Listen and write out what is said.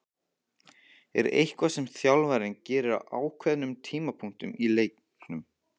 Er eitthvað sem þjálfarinn gerir á ákveðnum tímapunktum í leiknum?